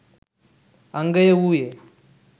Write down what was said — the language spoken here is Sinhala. අංගය වූයේ